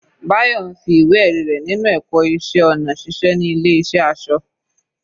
Bayo ń fi ìwé ẹ̀rí rẹ̀ ninu ẹ̀kọ́ iṣẹ́ ọnà ṣiṣẹ́ ní ilé ìṣẹ́ aṣọ.